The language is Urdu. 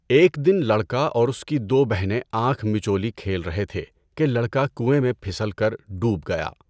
ایک دن لڑکا اور اس کی دو بہنیں آنکھ مچولی کھیل رہے تھے کہ لڑکا کنویں میں پھسل کر ڈوب گیا۔